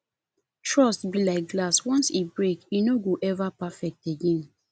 trust be like glass once e break e no go ever perfect again